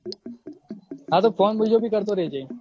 હા તો ફોન બીજો ભી કરતો રહેજે